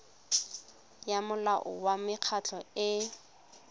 ya molao wa mekgatlho e